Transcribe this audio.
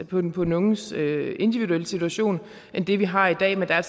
på den på den unges individuelle situation end det vi har i dag men der er